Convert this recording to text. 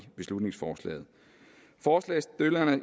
beslutningsforslaget forslagsstillerne